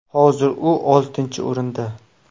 Hozir u oltinchi o‘rinda.